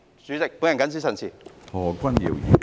主席，我謹此陳辭。